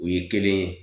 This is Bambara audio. U ye kelen ye